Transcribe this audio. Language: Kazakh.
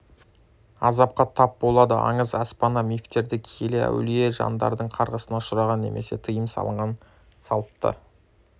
азапқа тап болады аңыз әпсана мифтерде киелі әулие жандардың қарғысына ұшыраған немесе тыйым салынған салтты